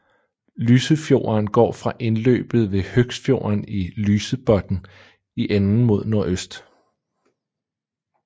Lysefjorden går fra indløbet ved Høgsfjorden til Lysebotn i enden mod nordøst